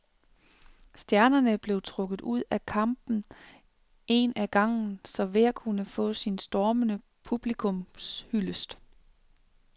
Stjernerne blev trukket ud af kampen en ad gangen, så hver kunne få sin stormende publikumshyldest.